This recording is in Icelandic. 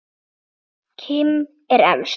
Kim er efst.